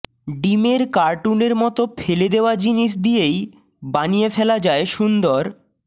ডিমের কার্টুনের মত ফেলে দেওয়া জিনিস দিয়েই বানিয়ে ফেলা যায় সুন্দর